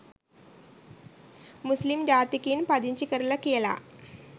මුස්ලිම් ජාතිකයින් පදිංචි කරලා කියලා.